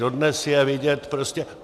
Dodnes je vidět prostě...